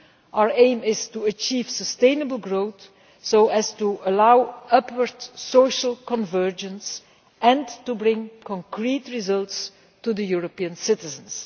Our aim is to achieve sustainable growth so as to allow upward social convergence and to bring concrete results to the European citizens.